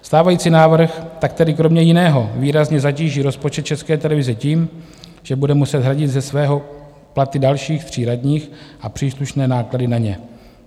Stávající návrh tak tedy kromě jiného výrazně zatíží rozpočet České televize tím, že bude muset hradit ze svého platy dalších tří radních a příslušné náklady na ně.